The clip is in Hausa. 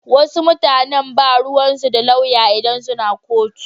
Wasu mutanan ba ruwansu da lauya idan suna kotu.